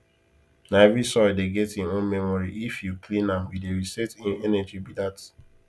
na every soil dey get hin own memory if you clean am you dey reset hin energy be that